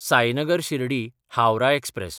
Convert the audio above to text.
Sainagar शिर्डी–हावराह express